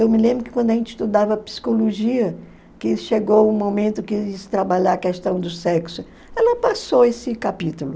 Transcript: Eu me lembro que quando a gente estudava psicologia, que chegou o momento que se trabalhava a questão do sexo, ela passou esse capítulo.